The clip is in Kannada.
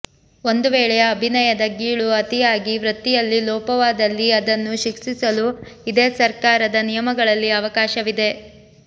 ಒಂದು ವೇಳೆ ಅಭಿನಯದ ಗೀಳು ಅತಿಯಾಗಿ ವೃತ್ತಿಯಲ್ಲಿ ಲೋಪವಾದಲ್ಲಿ ಅದನ್ನು ಶಿಕ್ಷಿಸಲು ಇದೇ ಸರ್ಕಾರದ ನಿಯಮಗಳಲ್ಲಿ ಅವಕಾಶವಿದೆ